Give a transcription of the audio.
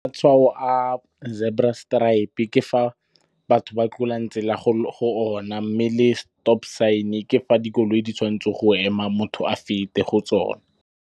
Matshwao a zebra stripe-e ke fa batho ba tlolang tsela go ona. Mme le stop sign ke fa dikoloi di tshwantseng go ema, motho a fete go tsone.